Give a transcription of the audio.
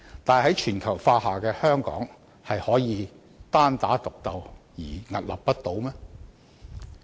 但是，在全球化下的香港，難道可以單打獨鬥而屹立不倒？